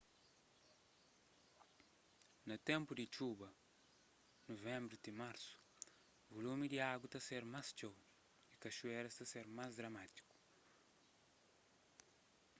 na ténpu di txuba nuvenbru ti marsu vulumi di agu ta ser más txeu y kaxuéras ta ser más dramátiku